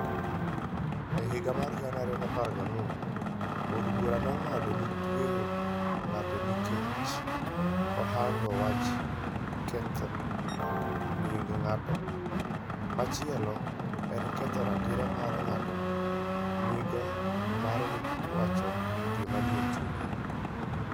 E higa mar 2014, od burano nong'ado ni tweyo ng'ato nikech ohangone wach ketho nying' ng'at machielo en ketho ratiro ma ng'ato nigo mar wacho gima nie chunye.